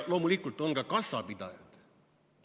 Loomulikult on ka kassapidajad.